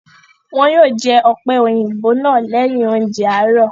Wọn yóò jẹ ọ̀pẹ́-òyìnbó náà lẹ́yìn oúnjẹ àárọ̀.